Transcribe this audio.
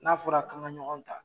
N'a fɔra k'an ka ɲɔgɔn ta